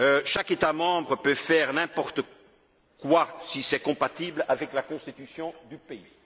Chaque État membre peut faire n'importe quoi si c'est compatible avec la Constitution du pays.